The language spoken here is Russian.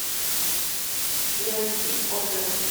ленский отзывы